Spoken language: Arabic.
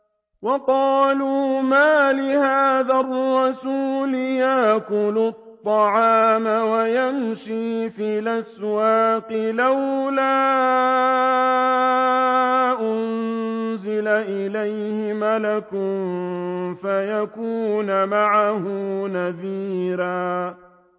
وَقَالُوا مَالِ هَٰذَا الرَّسُولِ يَأْكُلُ الطَّعَامَ وَيَمْشِي فِي الْأَسْوَاقِ ۙ لَوْلَا أُنزِلَ إِلَيْهِ مَلَكٌ فَيَكُونَ مَعَهُ نَذِيرًا